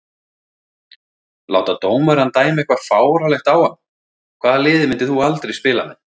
Láta dómarann dæma eitthvað fáránlegt á hann Hvaða liði myndir þú aldrei spila með?